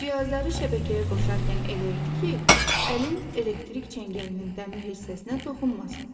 Cihazları şəbəkəyə qoşarkən elə et ki, əlin elektrik çəngəlinin dəmir hissəsinə toxunmasın.